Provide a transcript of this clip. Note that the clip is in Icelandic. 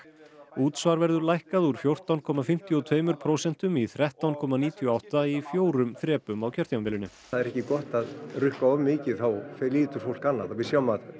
útsvar verður lækkað úr fjórtán komma fimmtíu og tveimur prósentum í þrettán komma níutíu og átta í fjórum þrepum á kjörtímabilinu það er ekki gott að rukka of mikið þá flytur fólk annað við sjáum að